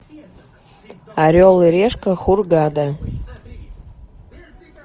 орел и решка хургада